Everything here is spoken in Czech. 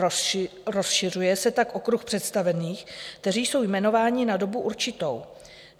Rozšiřuje se tak okruh představených, kteří jsou jmenováni na dobu určitou.